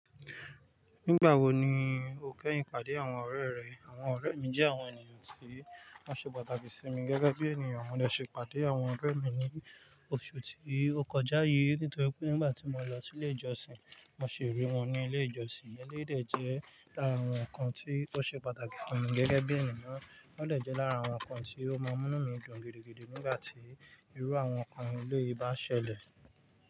Nígbà wo ni o kẹ́yìn pàdé àwọn ọ̀rẹ́ rẹ? Àwọn ọ̀rẹ́ mi jẹ́ àwọn ènìyàn tí wọ́n ṣe pàtàkì sí mi gẹ́gẹ́ bí ènìyàn. Wọ́n dẹ̀ ṣe pàdé àwọn ọ̀rẹ́ mi ní oṣù tí ó kọjá yìí. Nítorí pé nígbà tí mo lọ sí ilé ìjọsìn, mo sì rí wọn ní ilé ìjọsìn. Eléyìí dẹ̀ jẹ́ lára àwọn nǹkan tí ó ṣe pàtàkì fún mi gẹ́gẹ́ bí ènìyàn. Wọ́n dẹ̀ jẹ́ lára àwọn nǹkan tí ó máa ń mú mí dùn gidigidi nígbà tí irú àwọn nǹkan eléyìí bá ṣẹlẹ̀